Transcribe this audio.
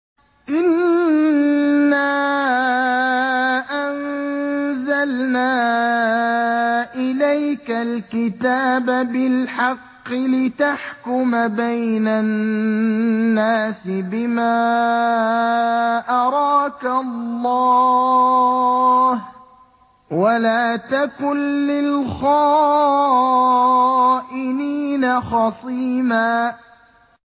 إِنَّا أَنزَلْنَا إِلَيْكَ الْكِتَابَ بِالْحَقِّ لِتَحْكُمَ بَيْنَ النَّاسِ بِمَا أَرَاكَ اللَّهُ ۚ وَلَا تَكُن لِّلْخَائِنِينَ خَصِيمًا